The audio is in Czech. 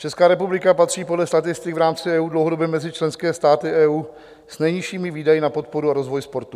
Česká republika patří podle statistik v rámci EU dlouhodobě mezi členské státy EU s nejnižšími výdaji na podporu a rozvoj sportu.